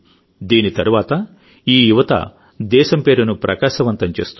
దీని తరువాతఈ యువత దేశం పేరును ప్రకాశవంతం చేస్తుంది